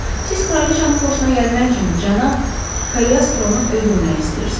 Siz kraliçanın xoşuna gəlmək üçün cənab Koleostronu öldürməyə istəyirsiz.